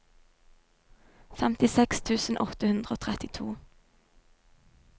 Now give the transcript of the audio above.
femtiseks tusen åtte hundre og trettito